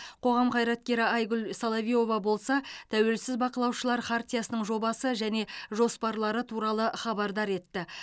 қоғам қайраткері айгүл соловьева болса тәуелсіз бақылаушылар хартиясының жобасы және жоспарлары туралы хабардар етті